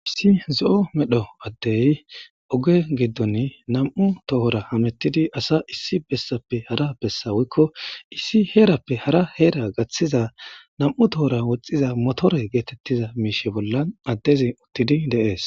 Pissi zo'o medho addey oge giddon nam'u tohora hamettidi asa issi bessappe hara bessa wuykko issi heerappe hara heera gaththiza nam'u toohora woxxiza motore geetettiza miishe bolla addezi uttidi deees.